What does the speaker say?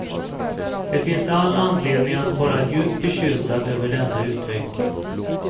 Det finns all anledning att vara djupt bekymrad över denna utveckling.